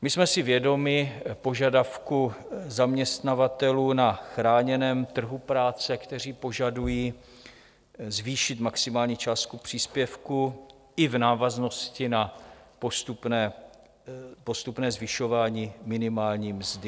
My jsme si vědomi požadavku zaměstnavatelů na chráněném trhu práce, kteří požadují zvýšit maximální částku příspěvku i v návaznosti na postupné zvyšování minimální mzdy.